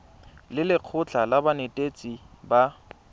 le lekgotlha la banetetshi ba